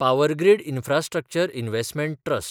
power grid infrastructure investment trust